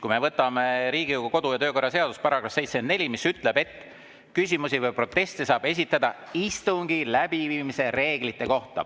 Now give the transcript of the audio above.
Kui me võtame Riigikogu kodu‑ ja töökorra seaduse § 74, siis see ütleb, et küsimusi või proteste saab esitada istungi läbiviimise reeglite kohta.